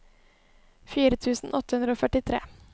fire tusen åtte hundre og førtitre